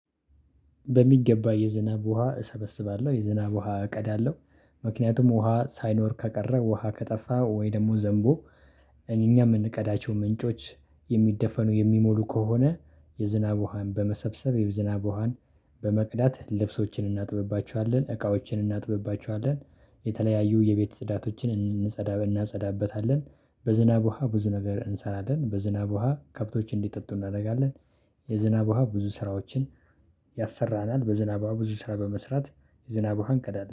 በሚገባ የዝናብ ውሃ እሰበስባለሁ የዝናብ ውሃ እቀዳለሁ። ምክንያቱም ውሃ ሳይኖር ከቀረ ውሃ ከጠፋ ወይ ደሞ ዘንቦ። እኔ እኛ የምንቀዳቸው ምንጮች የሚደፈኑ የሚሞሉ ከሆነ። የዝናብ ውሃን በመሰብሰብ የዝናብ ውሃን በመቅዳት ልብሶችን እናጥብባችኋለን እቃዎችን እናጥብባችኋለን። የተለያዩ የቤት ጽዳቶችን እንጸዳበን እናጸዳበታለን። በዝናብ ውሃ ብዙ ነገር እንሰራለን በዝናብ ውሃ ከብቶችን እንዲጠጡ እናደርጋለን። የዝናብ ውሃ ብዙ ስራዎችን ያሰራናል። በዝናብ ብዙ ስራ በመስራት ዝናብ ውሃን እንቀዳለን